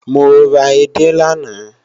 Mo ra edé lánàá